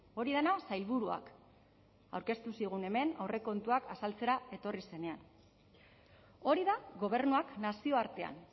hori dena sailburuak aurkeztu zigun hemen aurrekontuak azaltzera etorri zenean hori da gobernuak nazioartean